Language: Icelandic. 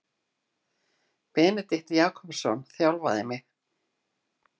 Benedikt Jakobsson þjálfaði mig.